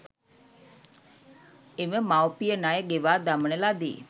එම මවුපිය ණය ගෙවා දමන ලදී.